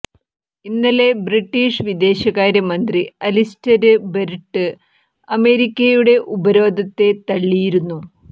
ഇന്നലെ ബ്രിട്ടീഷ് വിദേശകാര്യ മന്ത്രി അലിസ്റ്റര് ബര്ട്ട് അമേരിക്കയുടെ ഉപരോധത്തെ തള്ളിയിരുന്നു